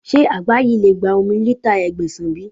Ṣé àgbá yìí lè gba omi lítà Ẹgbẹ̀sàn bí?